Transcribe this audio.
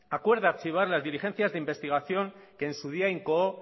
acuerda archivar las diligencias de investigación que en su día incoó